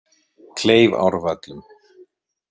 Kleifárvöllum